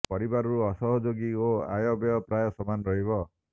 ପରିବାରରୁ ଅସହଯୋଗି ଓ ଆୟ ବ୍ୟୟ ପ୍ରାୟ ସମାନ ରହିବ